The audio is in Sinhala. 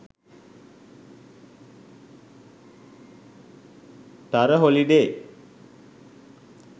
tara holiday